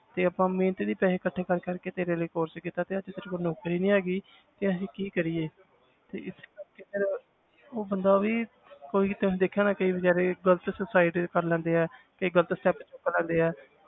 ਤੇ ਆਪਾਂ ਮਿਹਨਤ ਦੀ ਪੈਸੇ ਇਕੱਠੇ ਕਰ ਕਰਕੇ ਤੇਰੇ ਲਈ course ਕੀਤਾ ਤੇ ਅੱਜ ਤੇਰੇ ਕੋਲ ਨੌਕਰੀ ਨੀ ਹੈਗੀ ਤੇ ਅਸੀਂ ਕੀ ਕਰੀਏ ਤੇ ਇਸੇ ਕਰਕੇ ਫਿਰ ਉਹ ਬੰਦਾ ਵੀ ਕੋਈ ਜਿੱਦਾਂ ਤੁਸੀਂ ਦੇਖਿਆ ਹੋਣਾ ਕਈ ਬੇਚਾਰੇ ਗ਼ਲਤ suicide ਕਰ ਲੈਂਦੇ ਆ, ਕਈ ਗ਼ਲਤ step ਚੁੱਕ ਲੈਂਦੇ ਹੈ।